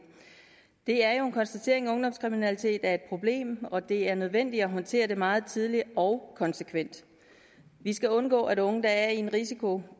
det er jo en konstatering at ungdomskriminalitet er et problem og det er nødvendigt at håndtere det meget tidligt og konsekvent vi skal undgå at unge der er i en risikogruppe